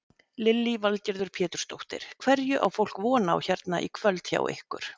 Lillý Valgerður Pétursdóttir: Hverju á fólk von á hérna í kvöld hjá ykkur?